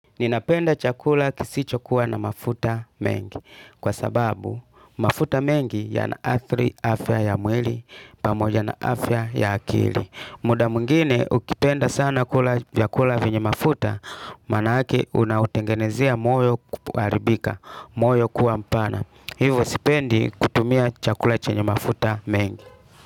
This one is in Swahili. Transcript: Ninapenda chakula kisicho kuwa na mafuta mengi. Kwa sababu, mafuta mengi yanaathiri afya ya mwili. Pamoja na afya ya akili muda mwingine, ukipenda sana kula vya kula vyenye mafuta. Maanake unaotengenezea moyo kuharibika. Moyo kuwa mpana. Hivyo sipendi kutumia chakula chenye mafuta mengi.